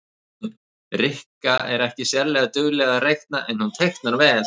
Rikka er ekki sérlega dugleg að reikna en hún teiknar vel